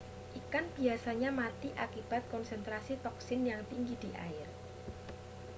ikan biasanya mati akibat konsentrasi toksin yang tinggi di air